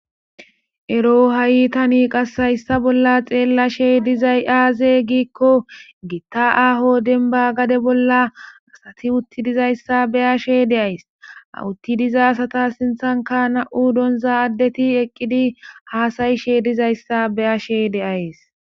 ero ha7i tani qashayssa bolla xeellashe dizay aaze giikko gitta aaho denba gade bolla asati utti dizayssa beyashe deays awutti diza asata sinthanka na7u doonzaaddeti eqqidi haasayishe dizayssa beyashe deays